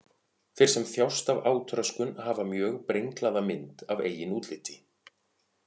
Þeir sem þjást af átröskun hafa mjög brenglaða mynd af eigin útliti.